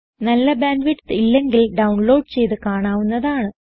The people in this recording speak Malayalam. നല്ല ബാൻഡ് വിഡ്ത്ത് ഇല്ലെങ്കിൽ ഡൌൺലോഡ് ചെയ്ത് കാണാവുന്നതാണ്